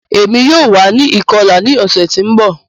Emi yoo wa ni ikọla ni ọsẹ ti n bọ